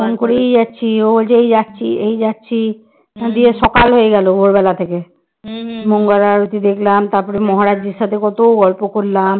মঙ্গল আরতি দেখলাম তারপর মহারাজের সাথে কত গল্প করলাম